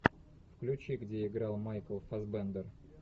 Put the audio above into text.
включи где играл майкл фассбендер